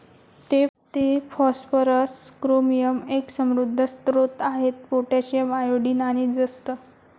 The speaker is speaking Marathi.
ते फॉस्फरस, क्रोमियम, एक समृद्ध स्रोत आहेत पोटॅशियम, आयोडीन, आणि जस्त.